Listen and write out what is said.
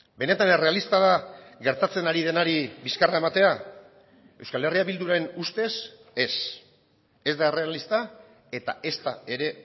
benetan errealista da gertatzen ari denari bizkarra ematea euskal herria bilduren ustez ez ez da errealista eta ezta ere